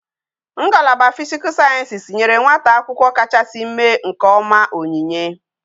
Ngalaba physical sciences nyere nwata akwukwo kachasi mme nke oma onyinye